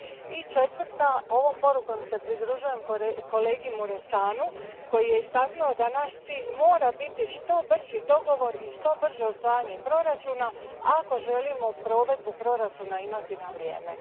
I četvrta ovom porukom se pridružujem kolegi Mureşanu, koji je istaknuo da naš cilj mora biti što brži dogovor i što brže usvajanje proračuna ako želimo provedbu proračuna imati na vrijeme.